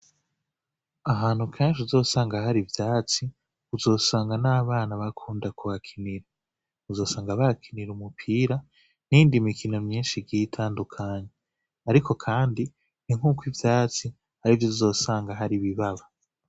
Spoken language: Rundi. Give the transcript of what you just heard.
Ahantu kanshi uzosanga hari vyatsi uzosanga n'abana bakunda kubakinira uzosanga bakinira umupira nindi mikino myinshi gitandukanye, ariko, kandi ntink'uko ivyatsi ari vyo uzosanga hari ibibaba.